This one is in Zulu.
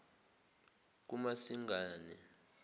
kumasingane